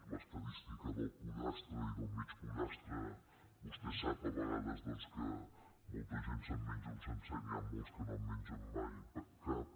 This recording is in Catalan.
l’estadística del pollastre i del mig pollastre vostè sap a vegades que molta gent se’n menja un sencer i n’hi han molts que no en mengen mai cap